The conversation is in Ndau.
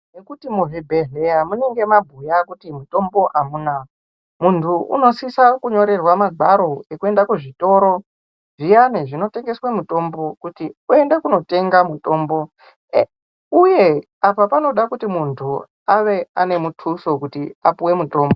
Ngekuti muzvibheheya munenge mabhuya kuti mutombo amuna. Muntu unosisa kunyorerwa magwaro ekuenda kuzvitoro zviyani zvinotengeswa mutombo kuti uenda kunotenga mutombo uye apa panoda kuti muntu ave ane mutuso kuti apuwe mutombo .